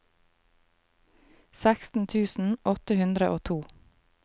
seksten tusen åtte hundre og to